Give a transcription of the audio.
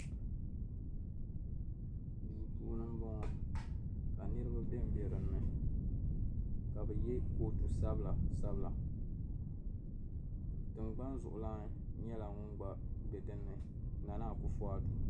Duu puuni m-bɔŋɔ ka niriba ben be dinni ka be ye kootu sabila sabila tiŋgbani zuɣulana nyɛla ŋun gba be dinni Nana Akufu Addo.